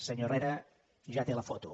senyor herrera ja té la foto